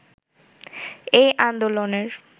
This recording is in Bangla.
এই আন্দোলনের